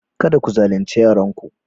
Kada ku zalunce yaranku.